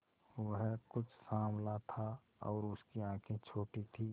वह कुछ साँवला था और उसकी आंखें छोटी थीं